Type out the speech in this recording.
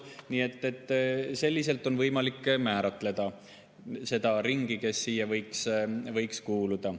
Nii et selliselt on võimalik määratleda seda ringi, kes siia võiks kuuluda.